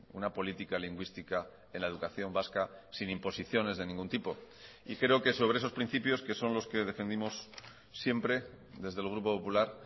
una política lingüística en la educación vasca sin imposiciones de ningún tipo y creo que sobre esos principios que son los que defendimos siempre desde el grupo popular